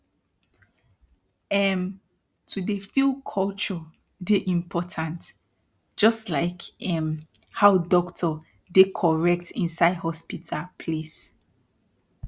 erm to dey feel culture dey important jus like erm how dokto dey correct inside hospital place